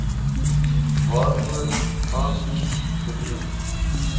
waarvoor aansoek gedoen